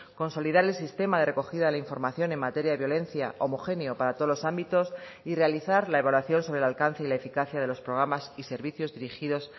consolidar el sistema de recogida de la información en materia de violencia homogéneo para todos los ámbitos y realizar la evaluación sobre el alcance y la eficacia de los programas y servicios dirigidos